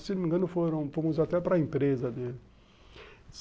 Se não me engano, fomos até para a empresa dele.